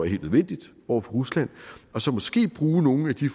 helt nødvendigt over for rusland og så måske bruge nogle af de